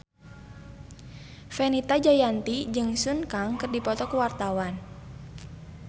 Fenita Jayanti jeung Sun Kang keur dipoto ku wartawan